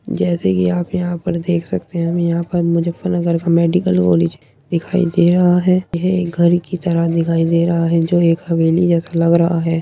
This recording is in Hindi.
जैसे कि आप ये यहां पर देख सकते हैं हमें यहां पर मुजफ्फरनगर का मेडिकल कॉलेज दिखाई दे रहा है। यह एक घर की तरह दिखाई दे रहा है जो एक हवेली जैसा लग रहा है।